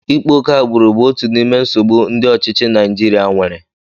Ịkpa ókè agbụrụ bụ otu n'ime nsogbu ndị ọchịchị Naijirịa nwere